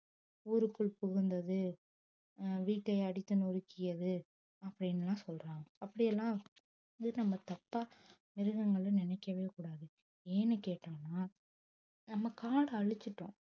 ஊருக்குள் புகுந்தது அஹ் வீட்டை அடித்து நொறுக்கியது அப்படின்னு எல்லாம் சொல்றாங்க அப்படி எல்லாம் இது நம்ம தப்பா மிருகங்களை நினைக்கவே கூடாது ஏன்னு கேட்டோம்னா நம்ம காடை அழிச்சிட்டோம்